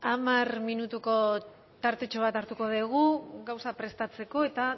hamar minutuko tartetxo bat hartuko dugu gauzak prestatzeko eta